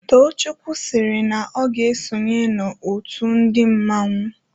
Tochukwụ siri na o ga -esonye the otụ ndi mmanwu.